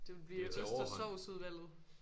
Det ville blive ost og sovs udvalget